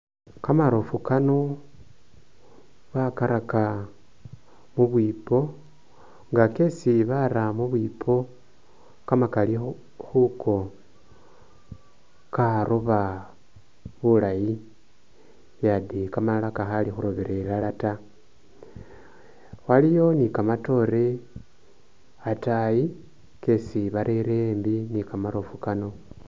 Kamaroofu kano bakaraka mubwipo nga kesi bara mubwipo kamakali khu khuko karoba bulayi yade kamalala kakhali khurobera ilala ta, waliwo ni kamatoore atayi kesi barere embi ni kamaroofu kano